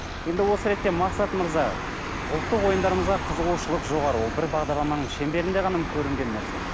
енді осы ретте мақсат мырза ұлттық ойындарымызға қызығушылық жоғары ол бір бағдарламаның шеңберінде ғана көрінген нәрсе